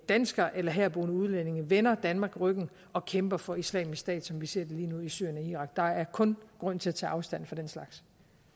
danskere eller herboende udlændinge vender danmark ryggen og kæmper for islamisk stat som vi ser det lige nu i syrien og irak der er kun grund til at tage afstand fra den slags